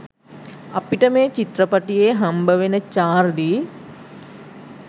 අපිට මේ චිත්‍රපටියේ හම්බවෙන චාර්ලී